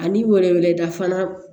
Ani wɛrɛ wele da fana